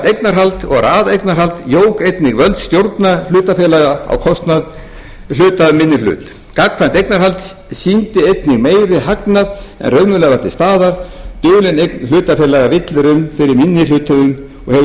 eignarhald og raðeignarhald jók einnig völd stjórna hlutafélaga á kostnað hluta af minni hlut gagnkvæmt eignarhald sýndi einnig meiri hagnað en raunverulega var til staðar dulin eign hlutafélaga villir um fyrir minni hluthöfum og hefur